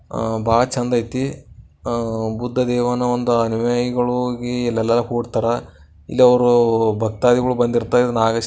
ಆ-ಬಾಳ್ ಚಂದೈತಿ ಆ-ಬುದ್ಧದೇವನ ಅನುಯಾಯಿಗೊಳ್ ಓಗಿ ಇಲ್ಲೀಲ್ಲ ಕೂಡ್ತರಾ ಇಲ್ ಅವ್ರು ಭಕ್ತಾದಿಗಳು ಬಂದಿರ್ತಾ ನಾಗ--